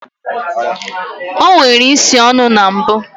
O nwere isi ọnụ na mbụ